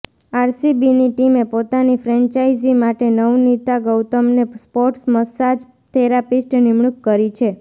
આરસીબીની ટીમે પોતાની ફ્રેન્ચાઈઝી માટે નવનીતા ગૌતમને સ્પોર્ટ્સ મસાજ થેરાપિસ્ટ નિમણૂક કરી છે